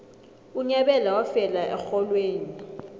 unyabela wafela exholweni